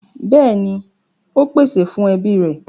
Bẹ́ẹ̀ni, ó pèsè fún ẹbí rẹ̀.